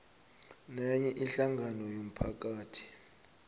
nenye ihlangano yomphakathi